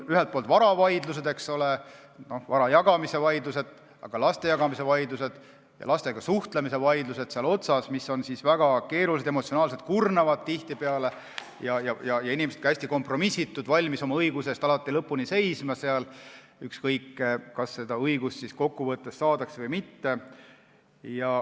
Ühelt poolt on need vara jagamise vaidlused, ka laste jagamise vaidlused ja lastega suhtlemise õiguse vaidlused, mis on väga keerulised ja tihtipeale emotsionaalselt kurnavad ning inimesed on hästi kompromissitult valmis oma õiguse eest lõpuni seisma, ükskõik, kas seda õigust saadakse või mitte.